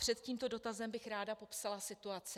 Před tímto dotazem bych ráda popsala situaci.